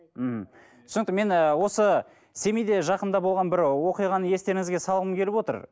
ммм түсінікті мен ы осы семейде жақында болған бір оқиғаны естеріңізге салғым келіп отыр